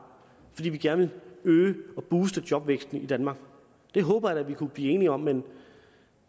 fordi vi gerne vil booste jobvæksten i danmark det håber jeg da vi kan blive enige om men